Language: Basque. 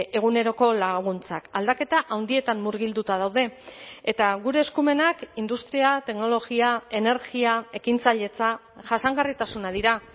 eguneroko laguntzak aldaketa handietan murgilduta daude eta gure eskumenak industria teknologia energia ekintzailetza jasangarritasuna dira